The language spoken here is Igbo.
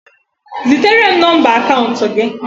Zitere m nọmba akaụntụ gị!